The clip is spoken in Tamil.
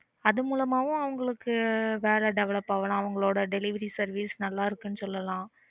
அது மூலமாவும் அவங்களுக்கு வேலை develop ஆகலாம். அவங்களோட delivery service நல்லா இருக்குன்னு சொல்லலாம்